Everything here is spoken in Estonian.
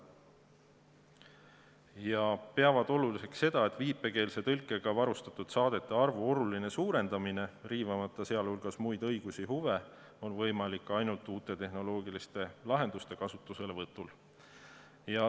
Nad peavad oluliseks, et viipekeelse tõlkega varustatud saadete arvu oluline suurendamine, riivamata muid õigusi ja huve, on võimalik ainult uute tehnoloogiliste lahenduste kasutuselevõtu korral.